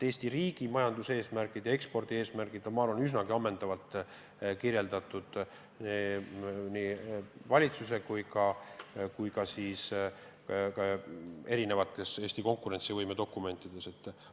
Eesti riigi majanduseesmärgid, sh ekspordieesmärgid on, ma arvan, üsnagi ammendavalt kirjas nii valitsuse dokumentides kui ka mitmes Eesti konkurentsivõimet käsitlevas dokumendis.